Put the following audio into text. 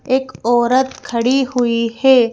एक औरत खड़ी हुई है।